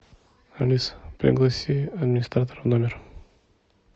алиса пригласи администратора в номер